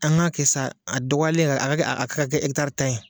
An k'a kɛ sa a dɔgɔyalen a ka kɛ a ka kɛ ɛkitari tan ye